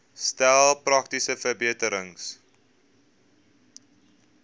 stel praktiese verbeterings